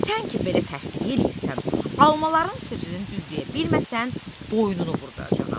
Sən ki, belə təsdiq eləyirsən, almaların sirrini düz deyə bilməsən, boynunu vurduracağam.